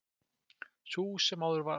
Sú sem áður var.